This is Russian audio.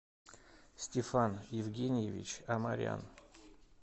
стефан евгеньевич амарян